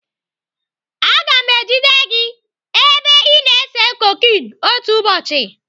Aga m ejide gị ebe ị na-ese koken otu ụbọchị.